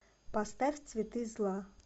поставь цветы зла